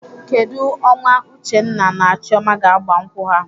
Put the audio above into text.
Kedụ ọnwa Uchenna na Chioma ga-agba nkwụ ha?